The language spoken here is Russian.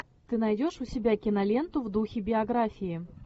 ты найдешь у себя киноленту в духе биографии